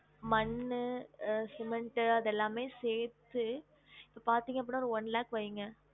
மண்ணு, cement அது எல்லாமே சேத்து இப்ப பாத்திங்க அப்டினா ஒரு one lakh வைங்க